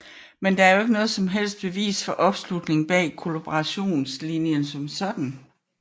Men det er jo ikke noget som helst bevis på opslutning bag kollaborationslinjen som sådan